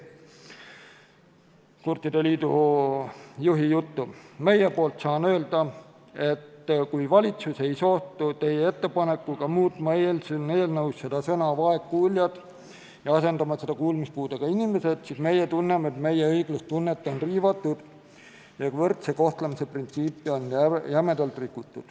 Kurtide liidu juht on öelnud, et meie poolt saan öelda, et kui valitsus ei soostu teie ettepanekuga muuta eelnõus seda sõna "vaegkuuljad" ja asendada seda sõnadega "kuulmispuudega inimesed", siis meie tunneme, et meie õiglustunnet on riivatud ja võrdse kohtlemise printsiipi on jämedalt rikutud.